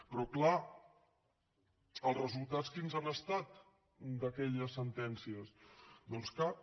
però clar els resultats quins han estat d’aquelles sentències doncs cap